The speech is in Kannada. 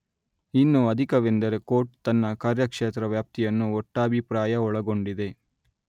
ಇನ್ನು ಅಧಿಕವೆಂದರೆ ಕೋರ್ಟ್ ತನ್ನ ಕಾರ್ಯಕ್ಷೇತ್ರ ವ್ಯಾಪ್ತಿಯನ್ನು ಒಟ್ಟಾಭಿಪ್ರಾಯ ಒಳಗೊಂಡಿದೆ